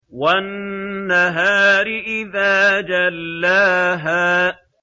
وَالنَّهَارِ إِذَا جَلَّاهَا